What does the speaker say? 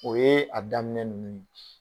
O ye a daminɛ ninnu ye